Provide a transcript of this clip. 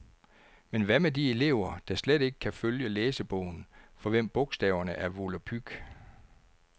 Men hvad med de elever, der slet ikke kan følge læsebogen, for hvem bogstaverne er volapyk?